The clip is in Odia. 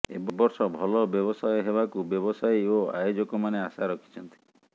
ଏବର୍ଷ ଭଲ ବ୍ୟବସାୟ ହେବାକୁ ବ୍ୟବସାୟୀ ଓ ଆୟୋଜକ ମାନେ ଆଶା ରଖିଛନ୍ତି